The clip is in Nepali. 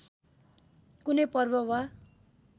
कुनै पर्व वा